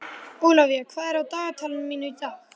Ólavía, hvað er á dagatalinu mínu í dag?